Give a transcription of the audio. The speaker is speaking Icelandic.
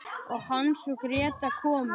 Og Hans og Gréta komin!